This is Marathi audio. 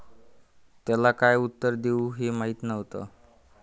त्याला काय उत्तर देऊ हे माहीत नव्हतं.